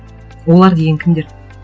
олар деген кімдер